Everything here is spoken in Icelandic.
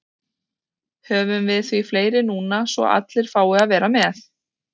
Höfum við því fleiri núna svo allir fái að vera með.